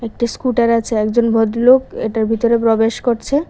একটি স্কুটার আছে একজন ভদ্রলোক এটার ভিতরে প্রবেশ করছে।